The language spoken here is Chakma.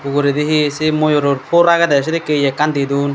uguredi hi se moyoror por agede sidikke ye ekkan didon.